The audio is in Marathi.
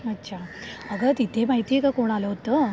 अच्छा, अगं तिथे माहितीये का कोण आलं होतं,